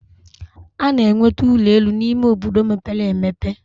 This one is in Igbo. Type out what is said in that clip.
A na-enweta ụlọ elu n'ime obodo mepere emepe.